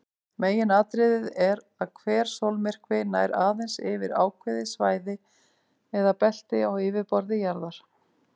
Meginatriðið er að hver sólmyrkvi nær aðeins yfir ákveðið svæði eða belti á yfirborði jarðar.